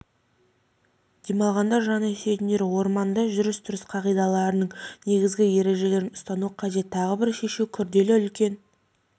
демалғанды жаны сүйетіндер орманда жүріс-тұрыс қағидаларының негізгі ережелерін ұстану қажет тағы бір шешуі күрделі үлкен